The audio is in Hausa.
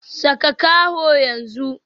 Saka kaho yanzu